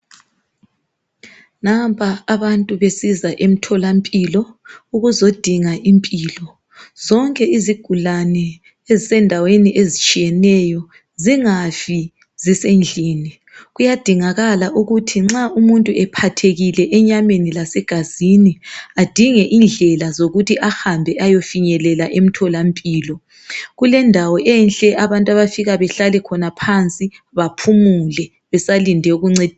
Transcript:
Nampa abantu besiza emtholampilo ukuzodinga impilo. Zonke izigulane ezisendaweni ezitshiyeneyo zingafi zisendlini kuyadingakala ukuthi nxa umuntu ephathekile enyameni lasegazini adinge indlela zokuthi ahambe ayefinyelela emtholampilo. Kulendawo enhle abantu abafika bahlale khona phansi baphumule besalinde ukuncediswa.